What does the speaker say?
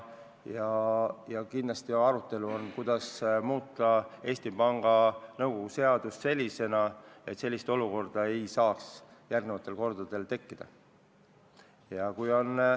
Ja kindlasti on arutelu all, kuidas muuta Eesti Panga seadust nii, et sellist olukorda ei saaks enam tekkida.